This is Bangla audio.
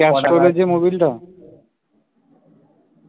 ক্যাস্ট্রল এর যে মবিলটা